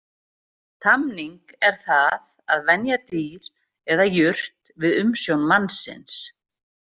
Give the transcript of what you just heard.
Tamning er það að venja dýr eða jurt við umsjón mannsins.